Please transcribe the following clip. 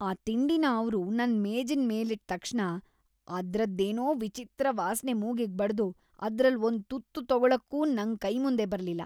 ಆ ತಿಂಡಿನ ಅವ್ರು ನನ್ ಮೇಜಿನ್‌ ಮೇಲಿಟ್ಟ್‌ ತಕ್ಷಣ ಅದ್ರದ್ದೇನೋ ವಿಚಿತ್ರ ವಾಸ್ನೆ ಮೂಗಿಗ್‌ ಬಡ್ದು ಅದ್ರಲ್ಲ್ ಒಂದ್‌ ತುತ್ತು ತಗೊಳಕ್ಕೂ ನಂಗ್‌ ಕೈ ಮುಂದೆ ಬರ್ಲಿಲ್ಲ.